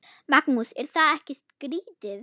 Magnús: Er það ekki skrítið?